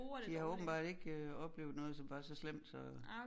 De har åbenbart ikke øh oplevet noget som var så slemt så